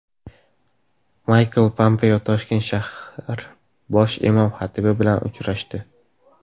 Maykl Pompeo Toshkent shahar bosh imom xatibi bilan uchrashdi.